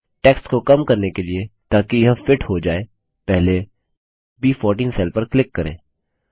text को कम करने के लिए ताकि यह फिट हो जाय पहले ब14 सेल पर क्लिक करें